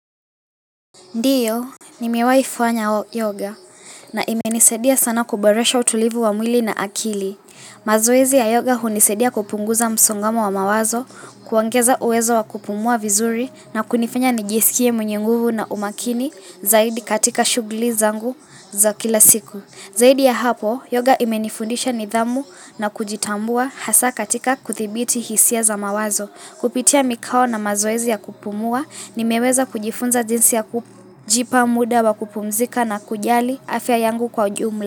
Ndiyo, nimewaifanya yoga na imenisedia sana kuboresha utulivu wa mwili na akili. Mazoezi ya yoga hunisadia kupunguza msongamo wa mawazo, kuongeza uwezo wa kupumua vizuri na kunifanya nijisikie mwenyenguvu na umakini zaidi katika shugli zangu za kila siku. Zaidi ya hapo, yoga imenifundisha nidhamu na kujitambua hasa katika kuthibiti hisia za mawazo. Kupitia mikao na mazoezi ya kupumua, nimeweza kujifunza jinsi ya kujipa muda wa kupumzika na kujali afya yangu kwa ujumla.